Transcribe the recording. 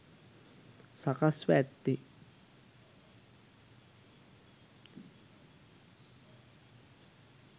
සකස් ව ඇත්තේ